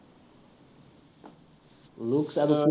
looks আৰু